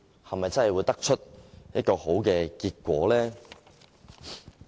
是否真的會得出好結果呢？